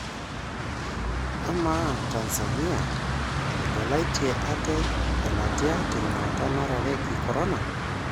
Ama, Tanzania etegelaitie ate telatia tenyuata narareki Corona?